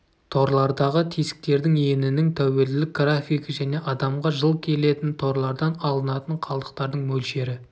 торлардағы тесіктердің енінің тәуелділік графигі және адамға жыл келетін торлардан алынатын қалдықтардың мөлшері